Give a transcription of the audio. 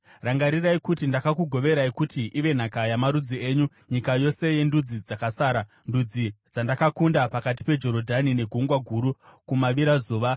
Rangarirai kuti ndakakugoverai kuti ive nhaka yamarudzi enyu, nyika yose yendudzi dzakasara, ndudzi dzandakakunda pakati peJorodhani neGungwa Guru kumavirazuva.